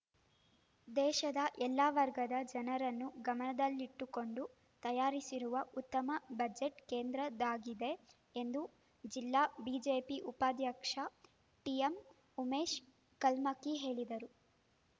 ದೇಶದ ಎಲ್ಲ ವರ್ಗದ ಜನರನ್ನು ಗಮನದಲ್ಲಿಟ್ಟುಕೊಂಡು ತಯಾರಿಸಿರುವ ಉತ್ತಮ ಬಜೆಟ್‌ ಕೇಂದ್ರದ್ದಾಗಿದೆ ಎಂದು ಜಿಲ್ಲಾ ಬಿಜೆಪಿ ಉಪಾಧ್ಯಕ್ಷ ಟಿಎಂ ಉಮೇಶ್‌ ಕಲ್ಮಕ್ಕಿ ಹೇಳಿದರು